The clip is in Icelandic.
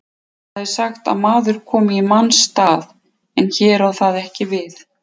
Það er sagt að maður komi í manns stað, en hér á það ekki við.